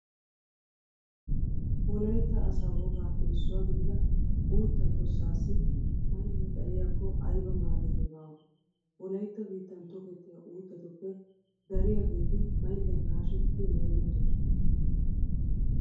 Wolaytta asaa wogaappe issuwa gidida uuttaa tossaassi mayllee xayiyakko ayba maadoynne baawa. Wolaytta biittan tokettiya uuttatuppe dariyageeti maylliyan haashettidi meetettoosona.